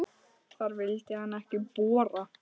Þar vildi hann ekki bora.